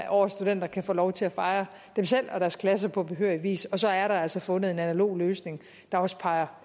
årets studenter kan få lov til at fejre sig selv og deres klasse på behørig vis og så er der altså fundet en analog løsning der også peger